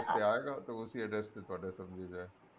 ਤੇ ਆਏਗਾ ਤਾਂ ਉਸੀ address ਤੇ ਜਿਹੜਾ ਐ